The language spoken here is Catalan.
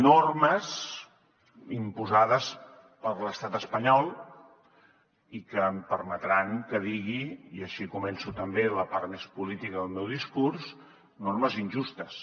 normes imposades per l’estat espanyol i que em permetran que ho digui i així començo també la part més política del meu discurs normes injustes